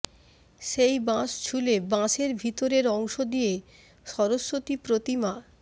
সেই বাঁশ ছুলে বাঁশের ভিতরের অংশ দিয়ে সরস্বতী প্রতিমা